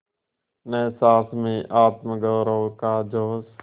न सास में आत्मगौरव का जोश